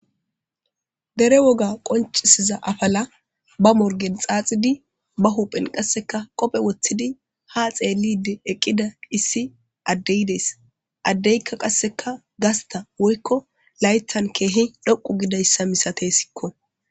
dere woga qoncisiza afala ba morgen xaaxidi ba huphen qasseka qophe woththidi ha xeellide eqqida issi addeydees addeykka qasseka gasta woykko laytan keehi dhoqu gidayssa misatey sikko